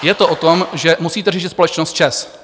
Je to o tom, že musíte řešit společnost ČEZ.